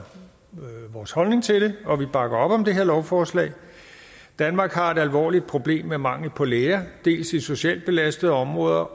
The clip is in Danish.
vores holdning til det og vi bakker op om det her lovforslag danmark har et alvorligt problem med mangel på læger dels i socialt belastede områder